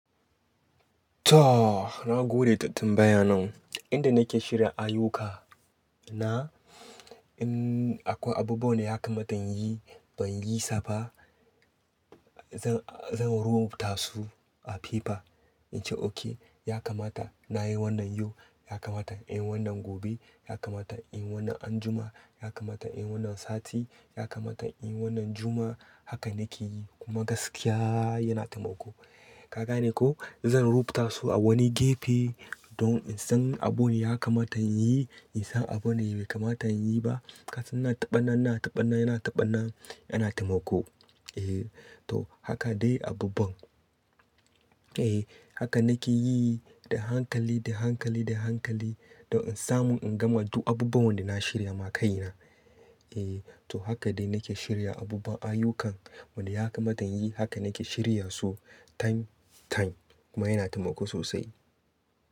To, na gode da tambayan nan. Inda nake shirya ayyukana, in akwai abubuwan da ya kamata in yi ban yi sa ba, zan-zan rubuta su a paper. In ce okay, ya kamata na yi wannan yau, ya kamata in yi wannan gobe, ya kamata in yi wannan anjima, ya kamata in yi wannan sati, ya kamata in yi wannan Juma'a. Haka nake yi kuma gaskiya yana taimako. Ka gane ko? Zan rubuta su a wani gefe don in san abin da ya kamata in yi, in san abin da bai kamata in yi ba. Kasan ina taɓa nan, ina taɓa nan, ina taɓa nan, yana taimako. Eh to, haka dai abubuwan. Eh haka nake yi da hankali, da hankali, da hankali don in samu in gama duk abubuwan da na shirya ma kaina. Eh to, haka dai nake shirya abubuwan ayyukan wanda ya kamata in yi. Haka nake shirya su time time kuma yana taimako sosai.